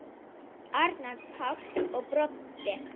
Arnar Páll og Broddi.